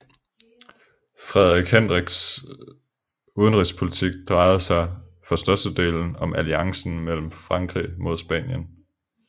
Frederik Hendriks udenrigspolitik drejede sig for størstedelen om alliancen med Frankrig mod Spanien